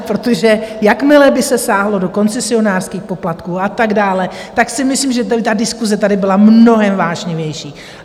Protože jakmile by se sáhlo do koncesionářských poplatků a tak dále, tak si myslím, že by diskuse tady byla mnohem vášnivější.